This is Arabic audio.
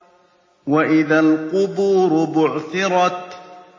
وَإِذَا الْقُبُورُ بُعْثِرَتْ